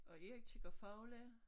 Og Erik kigger fugle